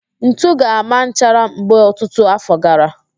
Ntu ga-ama nchara mgbe ọtutu afọ gara